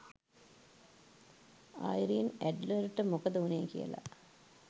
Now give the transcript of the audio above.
Irene ඇඩ්ලර්ට මොකද උනේ කියලා